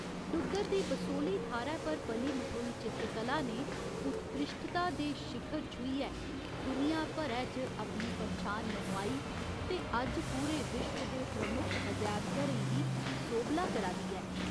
डुग्गर दी बसोह्‌ली थाह्‌रै पर पली मठोई चित्रकला ने उत्कृश्ठता दे शिखर छूहियै दुनिया भरै च अपनी पन्छान मनोआई ते अज्ज पूरे विश्व दे प्रमुख अजैबघरें गी सोभला करा दी ऐ।